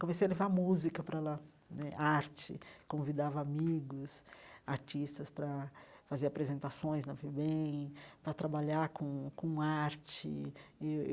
Comecei a levar música para lá né, arte, convidava amigos, artistas para fazer apresentações na FEBEM, para trabalhar com com arte eh eu.